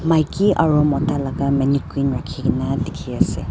maiki aro mota laga mannequin rakhi gina dikhi ase.